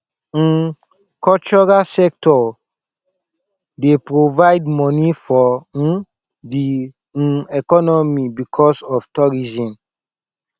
um cultural sector dey provide money for um di um economy because of tourism